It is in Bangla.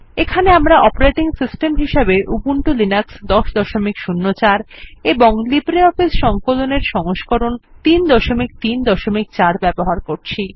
এখানে আমরা অপারেটিং সিস্টেম হিসেবে উবুন্টু লিনাক্স ১০০৪ এবং লিব্রিঅফিস সংকলন এর সংস্করণ ৩৩৪ ব্যবহার করছি